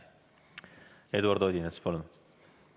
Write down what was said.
Eduard Odinets, palun!